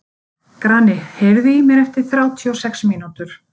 Grani, heyrðu í mér eftir þrjátíu og sex mínútur.